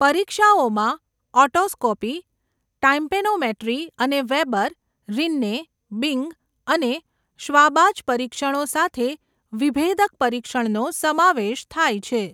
પરીક્ષાઓમાં otoscopy, tympanometry અને Weber, Rinne, Bing અને Schwabach પરીક્ષણો સાથે વિભેદક પરીક્ષણનો સમાવેશ થાય છે.